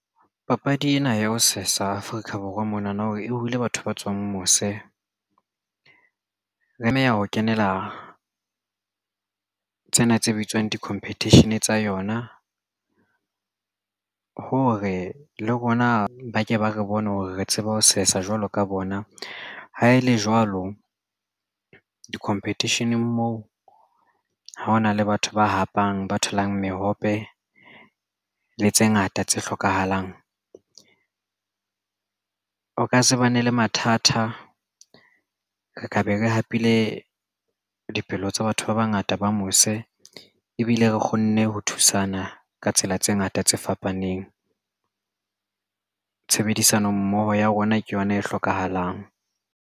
Papadi ena ya ho sesa Afrika Borwa mona na hore e hule batho ba tswang mose. Re tlameha ho kenela tsena tse bitswang di-competition tsa yona hore le rona ba ke ba re bone hore re tseba ho sesa jwalo ka bona hao le jwalo di-competition-ng moo ha hona le batho ba hapang ba tholang mehope le tse ngata tse hlokahalang. O ka se bane le mathata ka be ke hapile dipelo tsa batho ba bangata taba mose ebile re kgonne ho thusana ka tsela tse ngata tse fapaneng. Tshebedisano mmoho ya rona ke yona e hlokahalang.